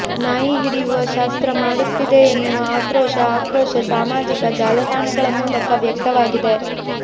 ನಾಯಿ ಹಿಡಿಯುವ ಶಾಸ್ತ್ರ ಮಾಡುತ್ತಿದೆ ಎನ್ನುವ ಆಕ್ರೋಶ ಆಕ್ರೋಶ ಸಾಮಾಜಿಕ ಜಾಲತಾಣಗಳ ಮೂಲಕ ವ್ಯಕ್ತವಾಗಿದೆ